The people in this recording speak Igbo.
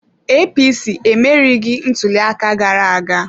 APC emerieghị ntuliaka gara aga.